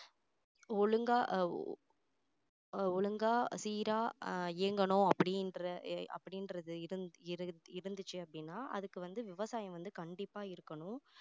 ஒழுங்கா ஒழுங்கா சீரா அஹ் இயங்கணும் அப்படின்ற அப்படின்றது இருந்~ இரு~ இருந்துச்சு அப்படின்னா அதுக்கு வந்து விவசாயம் வந்து கண்டிப்பா இருக்கணும்